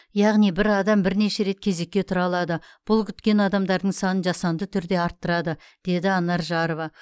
яғни бір адам бірнеше рет кезекке тұра алады бұл күткен адамдардың санын жасанды түрде арттырады деді анар жарова